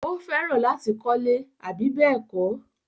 Ó fẹ́ràn láti kọ́lẹ́. àbí bẹ́ẹ̀kọ́?